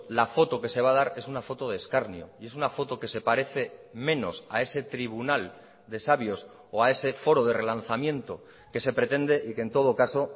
la foto que se va a dar es una foto de escarnio y es una foto que se parece menos a ese tribunal de sabios o a ese foro de relanzamiento que se pretende y que en todo caso